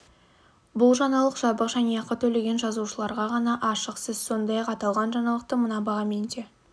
бұл жаңалық жабық және ақы төлеген жазылушыларға ғана ашық сіз сондай-ақ аталған жаңалықты мына бағамен де